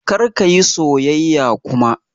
Kar ka yi soyayya kuma!